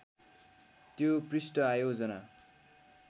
त्यो पृष्ठ आयोजना